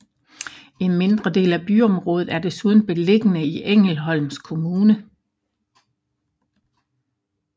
En mindre del af byområdet er desuden beliggende i Ängelholms kommune